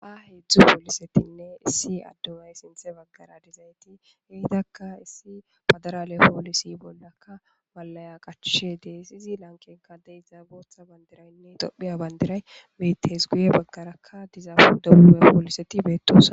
a hedzdzu poolisetinne issi addumay sinthe baggara dizayti heidakka issi padarale poolisi bollakka walaya qacshe dees izi lankenka de iza bootha bandiraynne dophiya bandiray metees guye baggarakka dizaafu dabume pooliseti beettossa